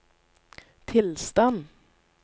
tilstand